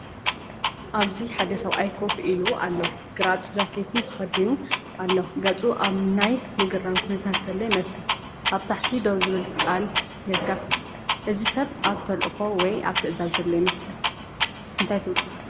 ኣብዚ ሓደ ሰብኣይ ኮፍ ኢሉ ኣሎ። ግራጭ ጃኬትን ተኸዲኑ ኣሎ። ገጹ ኣብ ናይ ምግራም ኩነታት ዘሎ ይመስል። ኣብ ታሕቲ "ድው" ዝብል ቃል ይርከብ። እዚ ሰብ ኣብ ተልእኾ ወይ ኣብ ትእዛዝ ዘሎ ይመስል እንታይ ትብሉ?